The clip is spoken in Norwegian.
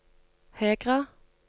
Hegra